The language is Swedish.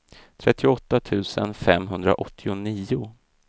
trettioåtta tusen femhundraåttionio